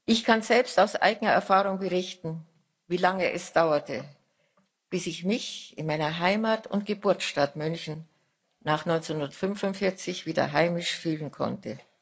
Ich kann selbst aus eigener Erfahrung berichten, wie lange es dauerte, bis ich mich in meiner Heimat und Geburtsstadt München nach 1945 wieder heimisch fühlen konnte.